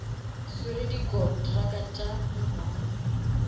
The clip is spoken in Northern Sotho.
swere di kontraka tša mengwaga